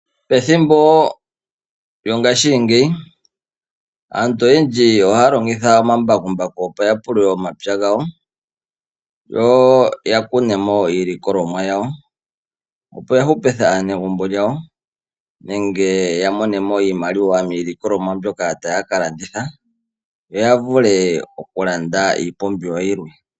Pethimbo lyongaashingeyi aantu ohaya longitha omambakumbaku opo ya pulule omapya gawo. Yo ya kune mo iilikolomwa yawo opo ya hupithe aanegumbo lyawo nenge ya monemo iimaliwa miilikolomwa mbyoka taya kalanditha yo ya vule oku landa iipumbiwa yilwe.